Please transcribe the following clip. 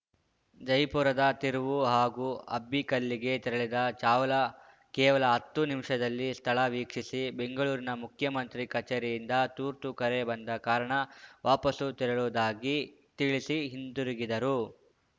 ಜಯಪುರದ ತಿರುವು ಹಾಗೂ ಅಬ್ಬಿಕಲ್ಲಿಗೆ ತೆರಳಿದ ಚಾವ್ಲಾ ಕೇವಲ ಹತ್ತು ನಿಮಿಷದಲ್ಲಿ ಸ್ಥಳ ವೀಕ್ಷಿಸಿ ಬೆಂಗಳೂರಿನ ಮುಖ್ಯಮಂತ್ರಿ ಕಚೇರಿಯಿಂದ ತುರ್ತು ಕರೆ ಬಂದ ಕಾರಣ ವಾಪಸ್ಸು ತೆರಳುವುದಾಗಿ ತಿಳಿಸಿ ಹಿಂದಿರುಗಿದರು